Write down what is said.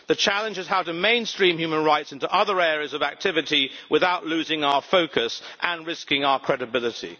The challenge is how to mainstream human rights into other areas of activity without losing our focus and risking our credibility.